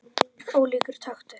Ólíkur taktur.